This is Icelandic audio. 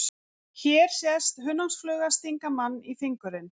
Hér sést hunangsfluga stinga mann í fingurinn.